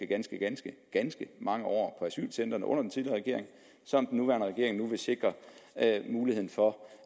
ganske ganske ganske mange år på asylcentrene under den tidligere regering og som den nuværende regering nu vil sikre mulighed for